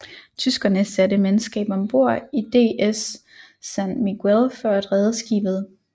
Tyskerne satte mandskab om bord i DS San Miguel for at redde skibet